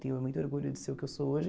Tenho muito orgulho de ser o que eu sou hoje.